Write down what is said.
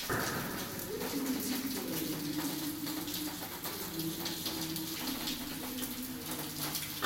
посоветуй мне пэинтинг виз ирина лямшина иришкалиа